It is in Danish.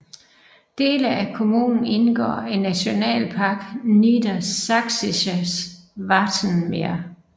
Dele af kommunen indgår i Nationalpark Niedersächsisches Wattenmeer